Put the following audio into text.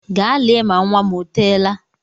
Gaa lee ma nnwa m o teela!